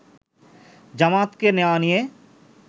জামায়াতকে নেওয়া নিয়ে